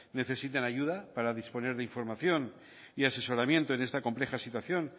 necesitan ayuda para disponer de información y asesoramiento en esta compleja situación